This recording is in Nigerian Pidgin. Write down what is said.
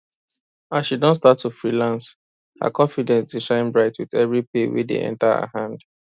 as she don start to freelance her confidence dey shine bright with every pay wey dey enter her hand